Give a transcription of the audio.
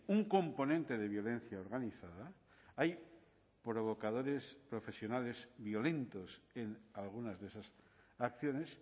un componente de violencia organizada hay provocadores profesionales violentos en algunas de esas acciones